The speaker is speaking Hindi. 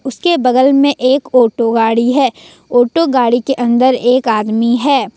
इसके बगल में एक ऑटो गाड़ी है ऑटो गाड़ी के अंदर एक आदमी है।